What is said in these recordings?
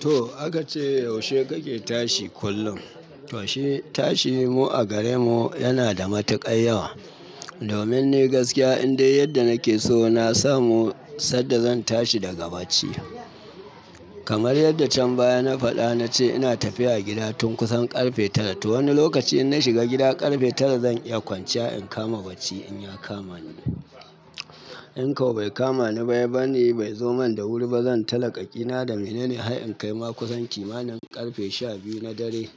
To aka ce yaushe kake tashi kullum? To shi tashi mu a gare mu yana da matuƙar yawa. Domin ni gaskiya in dai yadda nake so na samu sanda zan tashi daga bacci. Kamar yadda can baya na faɗa na ce ina tafiya gida tun kusan ƙarfe tara. To wani lokaci in na shiga gida ƙarfe tara zan iya kwanciya in kama bacci in ya kama ni. In kau bai kama ni bai bani bai zo man da wuri ba zan talaka ƙina da menene har in kai ma kusan kimanin ƙarfe shabiyu na dare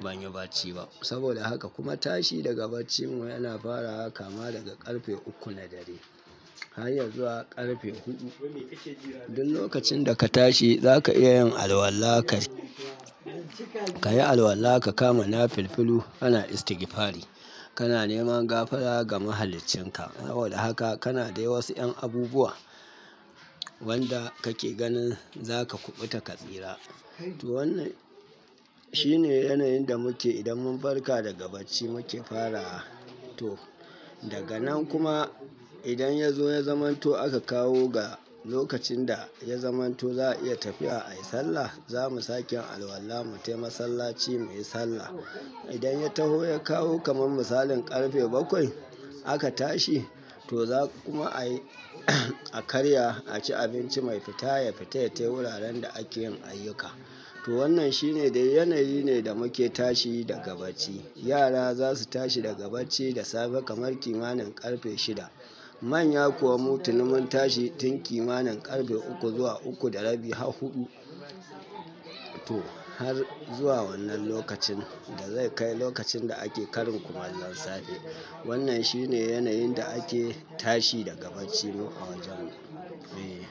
banyi bacci ba. Saboda haka kuma tashi daga bacci mu yana fara haka ma daga ƙarfe uku na dare har yazuwa ƙarfe hudu. Duk lokacin da ka tashi zaka iya yin alwala ka, kayi alwala ka kama na filfilu ana istigfari, kana neman gafara ga mahaliccinka. Saboda haka kana dai wasu ƴan abubuwa wanda kake ganin zaka kuɓuta ka tsira. To wannan shine yanayin da muke idan mun farka daga bacci muke farawa. To daga nan kuma idan ya zo ya zamanto aka kawo ga lokacin da ya zamanto za a iya tafiya ayi sallah, zamu sake alwala mu tafi masallaci muyi sallah. Idan ya taho ya kawo kaman misalin ƙarfe bakwai aka tashi to za kuma ayi a karya a ci abinci mai fita ya fita ya tafi wuraren da ake yin ayyuka. To wannan shine dai yanayi ne da muke tashi daga bacci. Yara zasu tashi daga bacci da safe kamar kimanin ƙarfe shida. Manya kuwa mutu ni mun tashi tun kimanin ƙarfe uku zuwa uku da rabi har huɗu. To har zuwa wannan lokacin da zai kai lokacin da ake karin kuma lan safe. Wannan shine yanayin da ake tashi daga bacci mu a wajen mu. E.